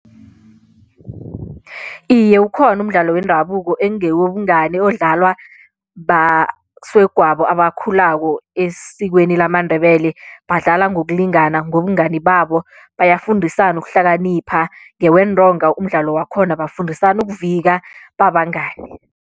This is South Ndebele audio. Iye, ukhona umdlalo wendabuko engewobungani odlalwa basegwabo abakhulako esikweni lamaNdebele badlala ngokulingana ngobungani babo bayafundisana ukuhlakanipha ngeweentonga umdlalo wakhona bafundisana ukuvika babangani.